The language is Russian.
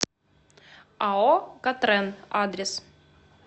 ао катрен адрес